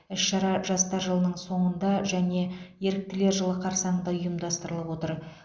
іс шара жастар жылының соңында және еріктілер жылы қарсаңында ұйымдастырылып отыр